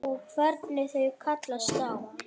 Og hvernig þau kallast á.